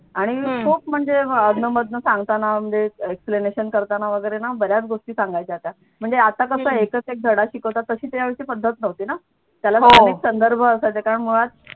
आणि ठोक म्हणजे आधनं मधनं सांगताना म्हणजे explanation करताना वगैरे ना बऱ्याच गोष्टी सांगायच्या त्या म्हणजे आता कस आहे एकच धडा शिकवतात तशी त्यावेळची पद्धत नव्हती ना त्याला संदर्भ असायचा कारण मुळात